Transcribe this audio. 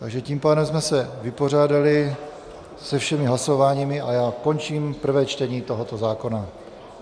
Takže tím pádem jsme se vypořádali se všemi hlasováními a já končím prvé čtení tohoto zákona.